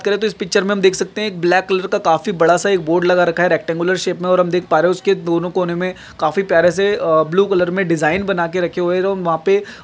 तो हम इस पिक्चर मे हम देख सकते है एक ब्लाॅक कलर का काफी बड़ा सा एक बोर्ड लगा रहा है रेक्टांगुलर शेप मे और हम देख पा रहे है उस के दोनों कोने मे काफी प्यारे से अह ब्लू कलर मे डिजाईन बना के रखे हुए है तो हम वहा पे --